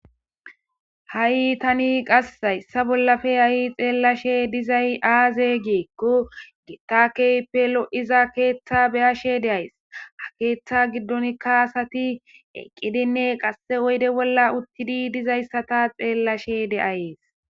Hai tani qasse hayssa bollappe hai xellashe dizzay aaze gikko giita kehippe loizza keththa beashe de'aysi ha keththa giddonikka asati eqqidinne qasse oydde bolla uttidi dizayssa ta xellashe dayisi.